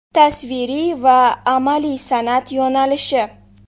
Tasviriy va amaliy san’at yo‘nalishi.